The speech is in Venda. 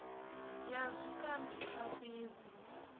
ya zwikambi i sa fhidzi